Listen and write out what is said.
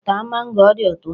Taa mango, ọ dị ụtọ.